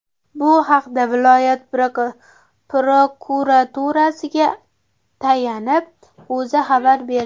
Bu haqda viloyat prokuraturasiga tayanib, O‘zA xabar berdi .